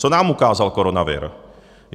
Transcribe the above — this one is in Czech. Co nám ukázal koronavir?